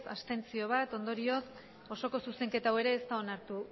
abstentzioak bat ondorioz osoko zuzenketa hau ere ez da onartu